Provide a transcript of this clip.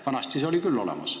Vanasti oli see ka olemas.